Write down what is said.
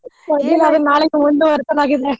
ನಾಳೆಗೆ ಮುಂದುವರಿಸಲಾಗಿದೆ.